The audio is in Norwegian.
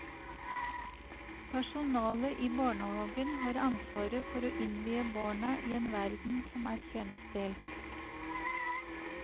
Personalet i barnehagen har ansvaret for å innvie barna i en verden som er kjønnsdelt.